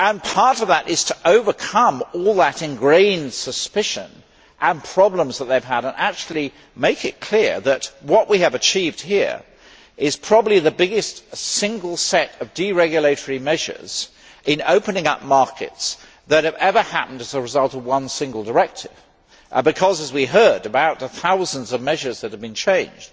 Part of that is to overcome all the ingrained suspicion and problems that they have had, and to make it clear that what we have achieved here is probably the biggest single set of deregulatory measures in opening up markets that has ever happened as a result of one single directive we have heard about the thousands of measures that have been changed